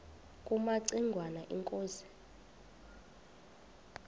kumaci ngwana inkosi